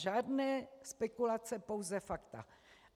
Žádné spekulace, pouze fakta.